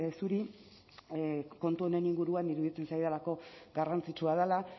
zuri kontu honen inguruan iruditzen zaidalako garrantzitsua dela